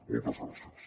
moltes gràcies